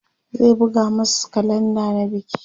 zai buga masu kalenda na biki